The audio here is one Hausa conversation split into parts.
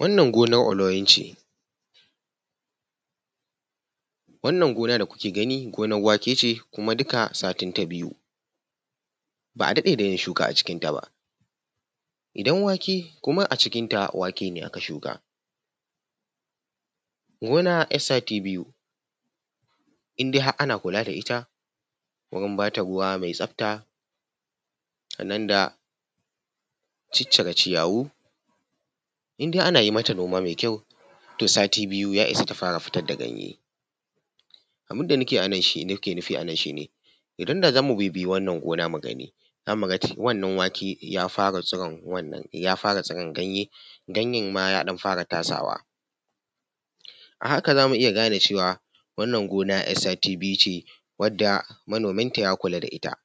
Wanan gonan oloyin ce. Wannan gonan da kuke ganin gonan wake ce. kuma duka satin ta biyu ba a dade da yin shuka a cikinta ba. Idan wake kuma a cikinta wake ne aka shuka. Gona ‘yar sati biyu in dai har ana kula da ita wurin ba ta ruwa mai tsafta sannan da ciccire ciyawu, in dai ana yi mata noma mai kyau, to sati biyu ya isa ta fara fitar da ganye. Abin da nake nufi a nan shi ne idan da za mu bibiya wannan gona mu gani, za mu ga wannan wake ya fara tsiran ganye, ganyen ma ya ɗan fara tasawa a haka zamu iya gane cewa wannan gona ‘yar sati biyu ce wanda manominta ya kula da ita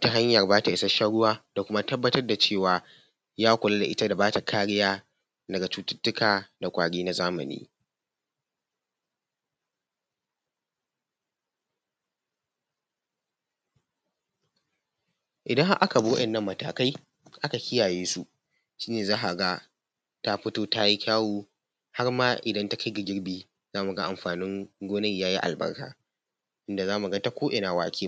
ta hanyan ba ta ishashshan ruwa da kuma tabbatar da cewa ya kula da ita da bata kariya daga cututtuka da ƙwari na zamani. Idan har aka bi wa’innan matakai aka kiyaye su, shi ne za ka ga ta fito ta yi kyawo har ma idan takai da girbi zamu ga amfanin gonan yayi albarka. inda za mu ga ta ko’ina ‘ya’yan wake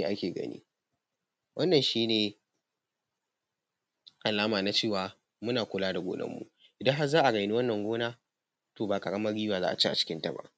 muke ake ganin wannan shi ne alama na cewa muna kula da gonan mu idan har za a raini wannan gona to ba ƙaramin riba za a ci a cikinta ba.